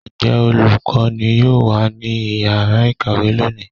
njẹ olukọní yọọ wa ní ìyára ikáwe loní?